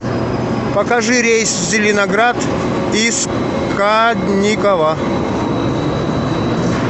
покажи рейс в зеленоград из кадникова